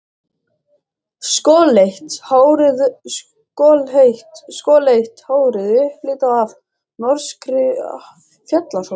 Skolleitt hárið upplitað af norskri fjallasól.